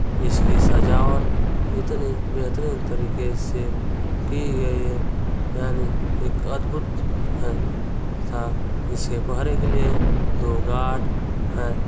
इसकी सजावट इतनी बहेतरीन तरीखे से की गई है यानि एक अद्भुत है सा इसके पहरे के लिए दो गार्ड है।